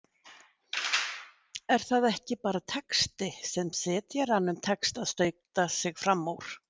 Er það ekki bara texti, sem setjaranum tekst að stauta sig fram úr?